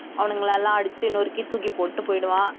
அவனுங்களை எல்லாம் அடிச்சு நொறுக்கி தூக்கி போட்டுட்டு போயிடுவான்